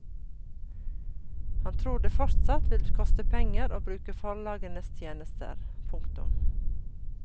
Han tror det fortsatt vil koste penger å bruke forlagenes tjenester. punktum